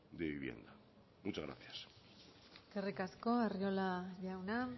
de vivienda muchas gracias eskerrik asko arriola jauna